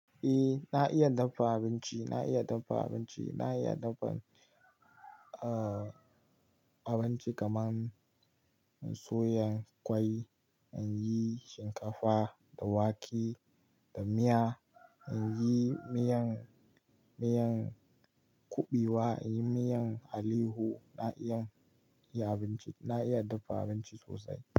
E, na iya dafa abinci, na iya dafa abinci, na iya dafa abinci kaman na soya kwai, an yi shinkafa da wake da miya, an yi miyan, miyan kuɓewa, an yi miyan aleyahu. Na iya yi abinci, na iya dafa abinci sosai.